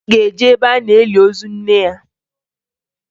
Anyị ga-eje ebe a na-eli ozu nne ya